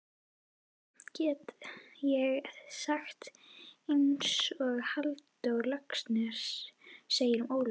Samt get ég sagt einsog Halldór Laxness segir um Ólaf